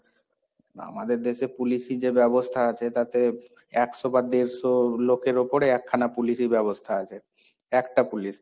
আমাদের দেশে police ই যে ব্যবস্থা আছে, তাতে একশো বা দেড়শো লোকের ওপরে একখানা police ব্যবস্থা আছে, একটা police।